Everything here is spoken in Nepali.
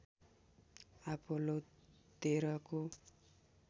अपोलो १३ को